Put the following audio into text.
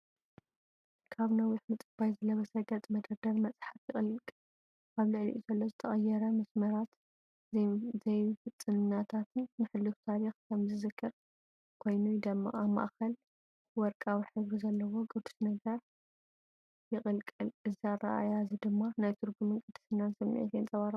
ካብ ነዊሕ ምጽባይ ዝለበሰ ገጽ መደርደሪ መጽሓፍ ይቕልቀል። ኣብ ልዕሊኡ ዘሎ ዝተቐየረ መስመራትን ዘይፍጽምናታትን ንሕሉፍ ታሪኽ ከም ዝዝክር ኮይኑ ይደምቕ። ኣብ ማእከል ወርቃዊ ሕብሪ ዘለዎ ቅዱስ ነገር ይቕልቀል፣ እዚ ኣረኣእያ’ዚ ድማ ናይ ትርጉምን ቅድስናን ስምዒት የንጸባርቕ።